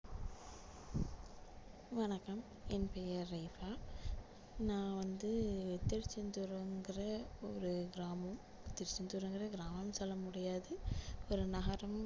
வணக்கம் என் பெயர் ரேகா நான் வந்து திருச்செந்தூருங்குற ஒரு கிராமம் திருச்செந்தூர் வந்து கிராமம்னு சொல்ல முடியாது ஒரு நகரம்